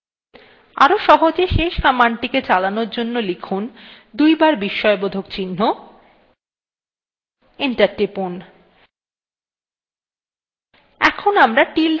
আরো সহজে শেষ কমান্ডটিকে চালানোর জন্য লিখুন দুইবার বিস্ময়বোধক চিহ্ন enter টিপুন